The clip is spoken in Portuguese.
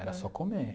Era só comer.